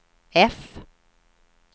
F